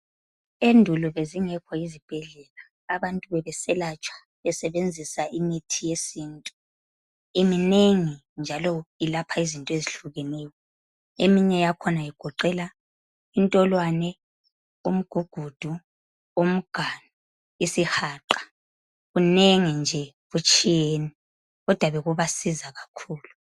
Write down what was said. Endulo bezingekho izibhedlela, abantu bebeselatshwa besebenzisa imithi yesintu. Iminengi njalo ilapha izinto ezihlukeneyo. Eminye yakhona igoqela intolwane, umgugudu, umganu, isihaqa. Kunengi nje kutshiyene kodwa bekubasiza kakhulu.